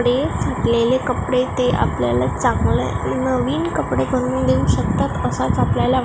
रे चुकलेले कपडे ते आपल्याला चांगलं नवीन कपडे बनवून देऊ शकतात असच आपल्याला वा--